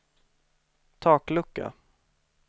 taklucka